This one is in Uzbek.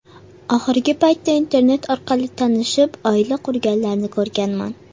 Oxirgi paytda Internet orqali tanishib, oila qurganlarni ko‘rganman.